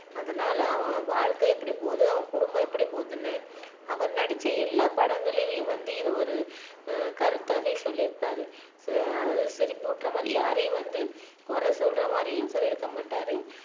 அதனால அவங்க வாழ்க்கை எப்படி போகுது அவங்க குடும்பம் எப்படி போகுதுன்னு அவர் நடிச்ச எல்லா படங்களிலும் வந்து இது ஒரு ஆஹ் கருத்தாவே சொல்லி இருப்பாரு ஆஹ் அதாவது சிரிப்பு ஊட்டுற மாதிரி யாரையும் வந்து குறை சொல்ற மாதிரியும் சொல்லியிருக்க மாட்டாரு